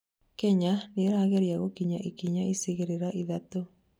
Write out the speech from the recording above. Kenya nĩirageria gũkinya ikinya icigĩrĩra ithatũ